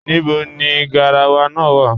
Níbọ̀ ni gáràwà náà wà?